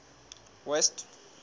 west